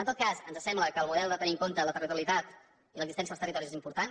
en tot cas ens sembla que el model de tenir en compte la territorialitat i l’existència als territoris és importat